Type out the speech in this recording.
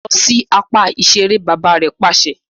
Lọ si apá iṣere! bàbà rè pàṣẹ